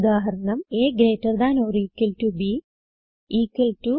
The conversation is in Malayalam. ഉദാഹരണം160a gt b ഇക്വൽ ടോ